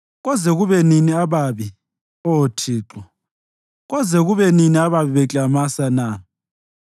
Koze kube nini ababi, Oh Thixo, koze kube nini ababi beklamasa na?